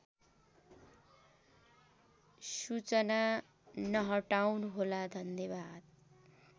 सूचना नहटाउनुहोला धन्यवाद